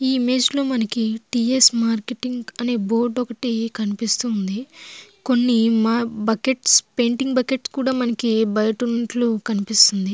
మనకి ఇక్కడ TS marketing అనే ఒక బోర్డు ఒకటి కనబడుతుంది. కొన్ని మా పెయింటింగ్ బకెట్స్ పెయింటింగ్ బకెట్స్ మనకి బయట ఉన్నట్టు కనిపిస్తుంది.